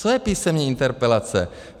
Co jsou písemné interpelace?